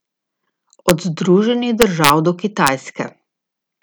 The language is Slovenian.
Od Združenih držav do Kitajske.